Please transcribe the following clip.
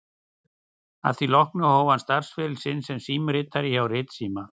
Að því loknu hóf hann starfsferil sinn sem símritari hjá Ritsíma